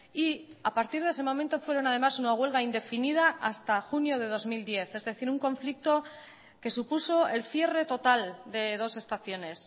y a partir de ese momento fueron además una huelga indefinida hasta junio de dos mil diez es decir un conflicto que supuso el cierre total de dos estaciones